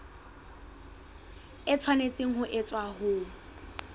e tshwanetse ho etswa ho